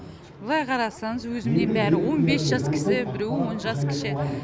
былай қарасаңыз өзімнен бәрі он бес жас кіші біреуі он жас кіші